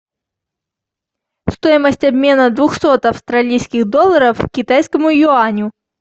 стоимость обмена двухсот австралийских долларов к китайскому юаню